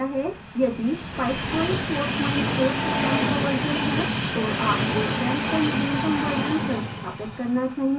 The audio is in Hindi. यदि 544 से कम का version है तो आपको xampp का नवीनतम version संस्थापित करना चाहिए